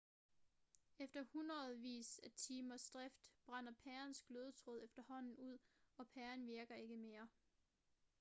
efter hundredvis af timers drift brænder pærens glødetråd efterhånden ud og pæren virker ikke mere